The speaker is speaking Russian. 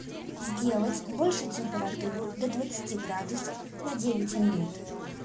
сделать больше температуру до двадцати градусов на девять минут